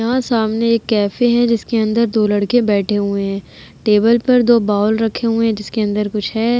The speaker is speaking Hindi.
यहाँ सामने एक कैफे हैं जिसके अंदर दो लड़के बैठे हुए हैं। टेबल पर दो बोल रखे हुए हैं जिसके अंदर कुछ है।